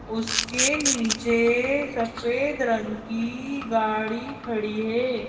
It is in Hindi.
उसके नीचे सफेद रंग की गाड़ी खड़ी है।